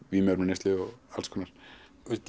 vímuefnaneyslu og alls konar